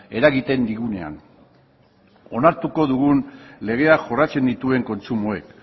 eragiten digunean onartuko dugun legea jorratzen dituen kontsumoek